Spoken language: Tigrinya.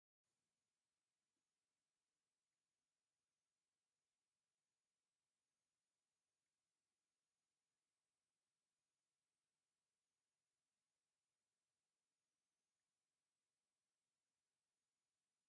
እሰይ ደስ እትብል ወርቃማ በራድ ንዝተፈላለዩ ሻሂ መፍልሒ ትጠቅመና፡፡ እዛ ወርቃማ በራድ አብ ፀሊም ሕብሪ ምድጃ ተሰክቲታ ትርከብ፡፡ አብዚ ሕዚ ግዜ ወርቃማ በራድ ዋግኡ ክባር እዩ፡፡